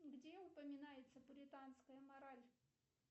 где упоминается пуританская мораль